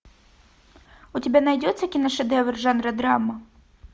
у тебя найдется киношедевр жанра драма